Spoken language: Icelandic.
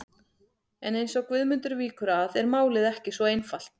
En eins og Guðmundur víkur að er málið ekki svo einfalt.